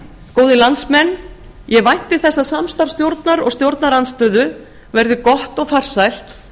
góðir landsmenn ég vænti þess að samstarf stjórnar og stjórnarandstöðu verði gott og farsælt